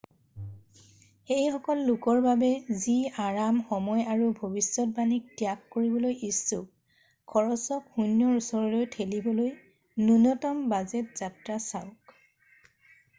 সেইসকল লোকৰ বাবে যি আৰাম সময় আৰু ভৱিষ্যতবাণীক ত্যাগ কৰিবলৈ ইচ্ছুক খৰচক শূন্যৰ ওচৰলৈ ঠেলিবলৈ নূন্যতম বাজেট যাত্ৰা চাওক ।